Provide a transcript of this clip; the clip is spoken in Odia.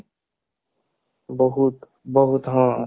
ବହୁତ ବହୁତ ହଁ